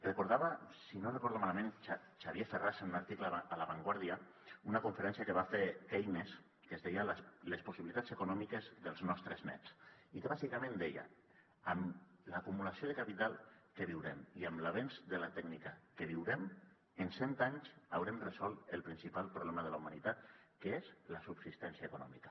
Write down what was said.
recordava si no ho recordo malament xavier ferràs en un article a la vanguardia una conferència que va fer keynes que es deia les possibilitats econòmiques dels nostres nets i que bàsicament deia amb l’acumulació de capital que viurem i amb l’avenç de la tècnica que viurem en cent anys haurem resolt el principal problema de la humanitat que és la subsistència econòmica